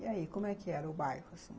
E aí, como é que era o bairro, assim?